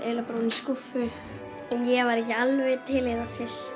bara ofan í skúffu ég var ekki alveg til í það fyrst